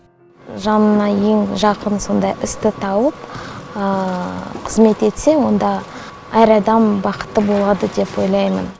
жаныңа ең жақын сондай істі тауып қызмет етсе онда әр адам бақытты болады деп ойлаймын